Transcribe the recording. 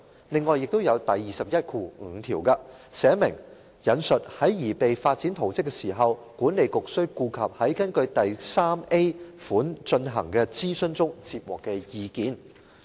另外，第215條訂明，"在擬備發展圖則時，管理局須顧及在根據第 3a 款進行的諮詢中接獲的意見"。